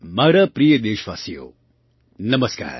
મારા પ્રિય દેશવાસીઓ નમસ્કાર